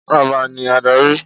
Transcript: Ọba ni adarí!